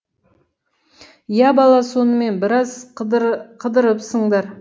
иә бала сонымен біраз қыдырыпсыңдар